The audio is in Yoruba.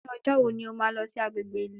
Ní ọjọ́ wo ni ó máa lọ sí agbègbè ìlú